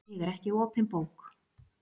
Ég er ekki opin bók.